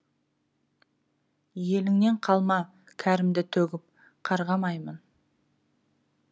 еліңнен қалма кәрімді төгіп қарғамаймын